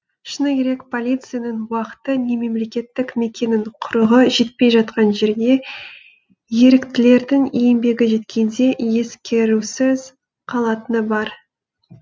шыны керек полицияның уақыты не мемлекеттік мекеменің құрығы жетпей жатқан жерге еріктілердің еңбегі жеткенде ескерусіз қалатыны бар